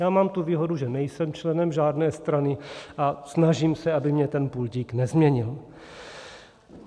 Já mám tu výhodu, že nejsem členem žádné strany, a snažím se, aby mě ten pultík nezměnil.